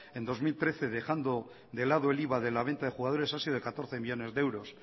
en dos mil trece dejando de lado el iva de la venta de jugadores ha sido de catorce millónes de euros